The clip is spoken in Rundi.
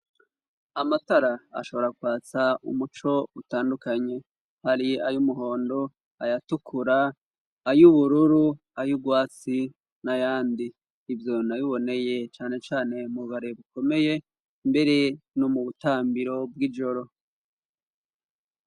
Amatara ashobora kwatsa umuco utandukanye. Hari ay'umuhondo, ayatukura, ay'ubururu, ay'urwatsi, n'ayandi. Ivyo nabiboneye canecane mu bare bukomeye, mbere no mu butambiro bw'ijoro.